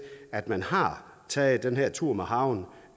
at man har taget den her tur med harven